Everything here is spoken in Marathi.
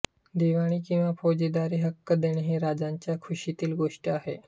दिवाणी किंवा फौजदारि हक्क देणे ही राजांच्या खुषीतील गोष्ट आहे